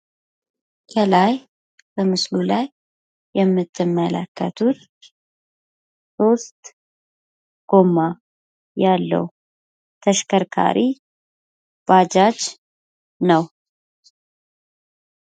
ከላይ በምስሉ ላይ የምትመለከቱት ሶስት ጎማ ያለው ተሽከርካሪ ባጃጅ ነው።